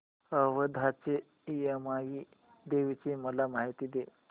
औंधच्या यमाई देवीची मला माहिती दे